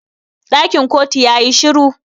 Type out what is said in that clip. Dakin kotu ya yi shiru.